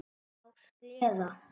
Á sleða.